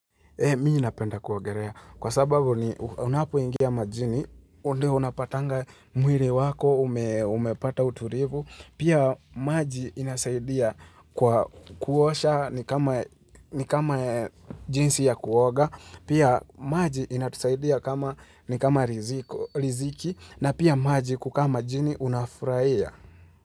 Mi napenda kuagerea, kwa sababu unapoingia majini, unapatanga mwiri wako, umepata uturivu, pia maji inasaidia kuosha ni kama jinsi ya kuoga, pia maji inatusaidia ni kama riziki, na pia maji kukaa majini unafurahia.